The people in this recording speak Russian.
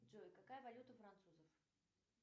джой какая валюта у французов